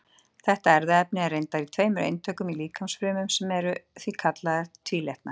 Þetta erfðaefni er reyndar í tveimur eintökum í líkamsfrumum, sem eru því kallaðar tvílitna.